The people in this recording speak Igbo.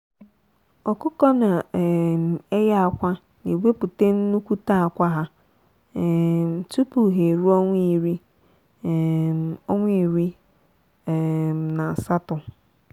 ọkụkọ na um eye akwa na ewepụta nnukwute akwa ha um tupu ha eruo ọnwa iri um ọnwa iri um na asatọ.